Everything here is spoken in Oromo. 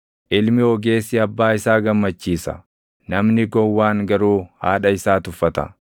Ilmi ogeessi abbaa isaa gammachiisa; namni gowwaan garuu haadha isaa tuffata.